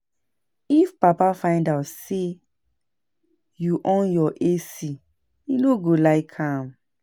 If papa find out say you on your AC he no go like am